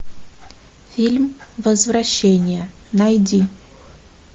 фильм возвращение найди